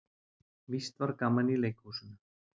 Víst var gaman í leikhúsinu.